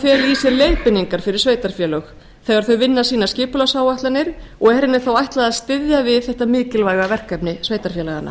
í sér leiðbeiningar fyrir sveitarfélög þegar þau vinna sínar skipulagsáætlanir og er henni þá ætlað að styðja við þetta mikilvæga verkefni sveitarfélaganna